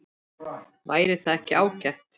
Væri það ekki ágætt?